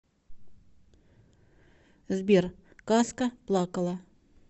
сбер казка плакала